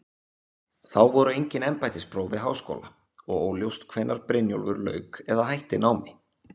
Þá voru engin embættispróf við háskóla og óljóst hvenær Brynjólfur lauk eða hætti námi.